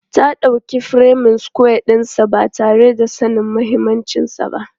Ta dauki furemin sukwaya ɗinsa ba tare da sanin mahimmancinsa ba.